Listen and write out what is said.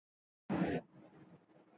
Nú hefurðu ekkert val lengur, Róbert minn.